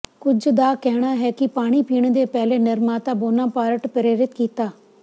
ਕੁਝ ਦਾ ਕਹਿਣਾ ਹੈ ਕਿ ਪਾਣੀ ਪੀਣ ਦੇ ਪਹਿਲੇ ਨਿਰਮਾਤਾ ਬੋਨਾਪਾਰਟ ਪ੍ਰੇਰਿਤ ਕੀਤਾ